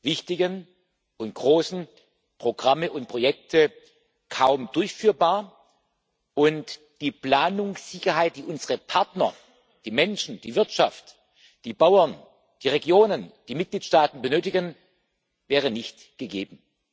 wichtigen und großen Programme und Projekte kaum durchführbar, und die Planungssicherheit, die unsere Partner die Menschen, die Wirtschaft, die Bauern, die Regionen, die Mitgliedstaaten benötigen, wäre nicht gegeben.